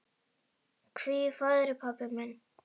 Hvíl í friði, pabbi minn.